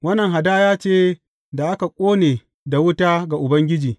Wannan hadaya ce da aka ƙone da wuta ga Ubangiji.